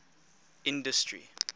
industry